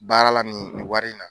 Baara la nin wari in na.